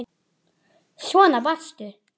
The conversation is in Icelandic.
Svona varstu.